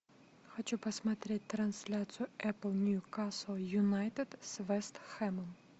хочу посмотреть трансляцию апл ньюкасл юнайтед с вест хэмом